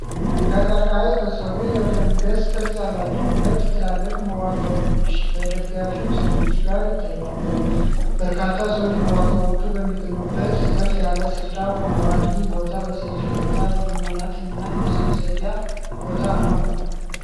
ከቀርከሃ የተሠሩ የፈንገስ ቅርጽ ያላቸው ሁለት ትላልቅ መዋቅሮች ከደጋፊ ምሰሶዎች ጋር ይታያሉ። በርካታ ሰዎች መዋቅሮቹ በሚገኙበት ከፍ ያለ ስፍራ ቆመዋል። ይህ ቦታ በሰፊ እይታ የመዝናናትና የመሰብሰቢያ ቦታ ነው፡፡